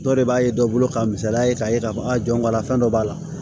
Dɔ de b'a ye dɔ bolo ka misaliya k'a ye k'a fɔ a jɔn b'a la fɛn dɔ b'a la